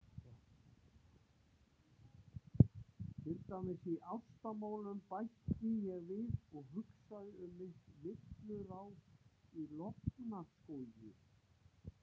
Til dæmis í ástarmálum, bætti ég við og hugsaði um mitt villuráf í Lofnar skógi.